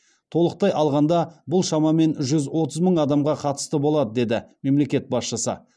толықтай алғанда бұл шамамен жүз отыз мың адамға қатысты болады деді мемлекет басшысы